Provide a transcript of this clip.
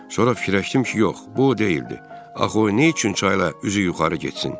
Sonra fikirləşdim ki, yox, bu o deyildi, axı o nə üçün çayla üzü yuxarı getsin?